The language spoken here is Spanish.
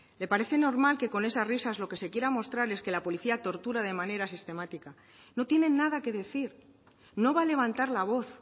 le parece normal que con esas risas lo que se quiera mostrar es que la policía tortura de manera sistemática no tiene nada que decir no va a levantar la voz